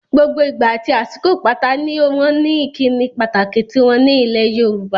Gbogbo ìgbà àti àsìkò pátá ni wọ́n ní ìkíni pàtàkì tiwọn nílẹ̀ Yorùbá.